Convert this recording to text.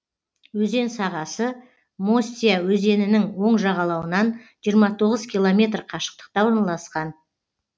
өзен сағасы мостья өзенінің оң жағалауынан жиырма тоғыз километр қашықтықта орналасқан